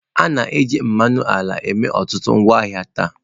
A na-eji mmanụ ala eme ọtụtụ ngwaahịa taa.